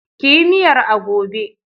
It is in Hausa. Ki yi miyar a gobe!